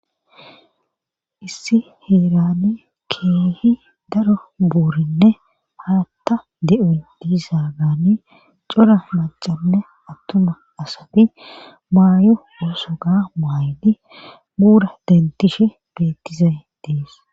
Issi heerani keehi daro buurinne haatta di7oy deyssaagaani cra maccanne attuma asati maayo oosuka maayidi buura denttishe beettizay dees